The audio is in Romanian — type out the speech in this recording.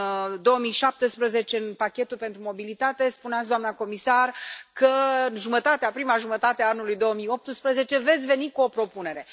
În 2017 în pachetul pentru mobilitate spuneați, doamna comisar, că în prima jumătate a anului 2018 veți veni cu o propunere.